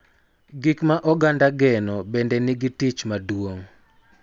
Gik ma oganda geno bende nigi tich maduong�